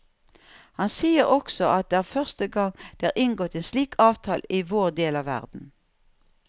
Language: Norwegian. Han sier også at det er første gang det er inngått en slik avtale i vår del av verden.